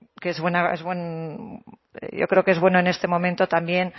yo creo que es bueno en este momento también